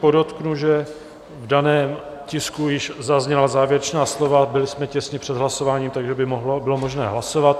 Podotknu, že v daném tisku již zazněla závěrečná slova, byli jsme těsně před hlasováním, takže by bylo možné hlasovat.